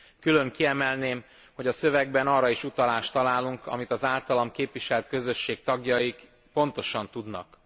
Külön kiemelném, hogy a szövegben arra is utalást találunk, amit az általam képviselt közösség tagjai pontosan tudnak.